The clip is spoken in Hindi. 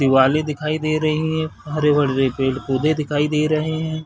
दिवाले दिखाई दे रही है हरे-भरे पेड़ -पौधे दिखाई दे रहे हैं ।